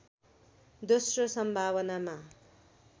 दोश्रो सम्भावनामा